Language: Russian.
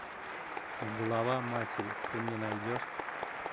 голова матери ты мне найдешь